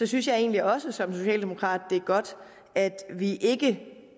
synes jeg egentlig også som socialdemokrat at det er godt at vi ikke